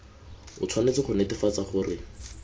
o tshwanetse go netefatsa gore